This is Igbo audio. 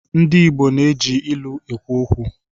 Ndị Igbo na-eji ilu ekwu okwu.